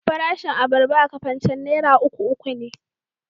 Farashin abarba a Kafancan naira uku uku ne.